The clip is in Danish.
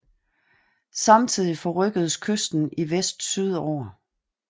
Samtidig forrykkedes kysten i vest sydover